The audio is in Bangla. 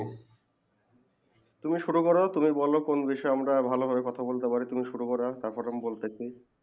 তুমি শুরু তুমি ব্লোম কোন বিষয়ে আমরা ভালো ভালো ভাবে কথা বলতে পারি তুমি শুরু করো তার পরে আমি বলতেছি